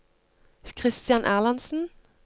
Kristian Erlandsen